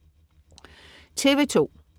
TV2: